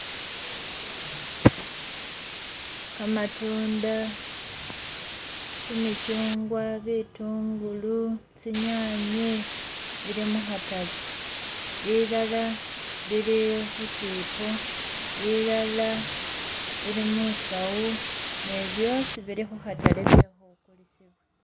Kamatunda kyimikyungwa, bitungulu tsinyanye bili mukhatale bilala bili khusipo bilala bili musawu ne byosi bili mukhatale bili kukulisiwa